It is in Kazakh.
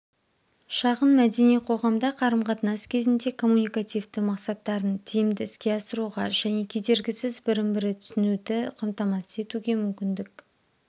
шағынмәдени қоғамда қарым-қатынас кезінде коммуникативті мақсаттарын тиімді іске асыруға және кедергісіз бірін-бірі түсінуді қамтамасыз етуге мүмкіндік